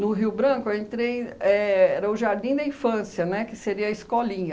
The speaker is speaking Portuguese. No Rio Branco, eu entrei... Éh era o Jardim da Infância, né, que seria a escolinha.